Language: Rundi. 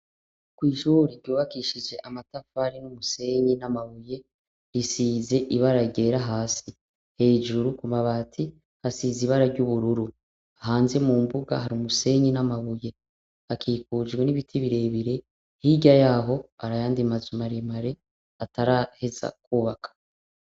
Kw'ishuri ryubakishije amatafari n'umusenyi, n'amabuye, risize ibara ryera hasi, hejuru ku mabati hasize ibara ry'ubururu, hanze mu mbuga hari umusenyi n'amabuye, hakikujwe n'ibiti birebire hirya yaho hari ayandi mazu maremare ataraheza kwubakwa.